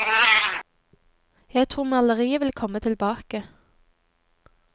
Jeg tror maleriet vil komme tilbake.